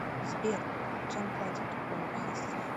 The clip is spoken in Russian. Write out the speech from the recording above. сбер чем платят у абхазсцев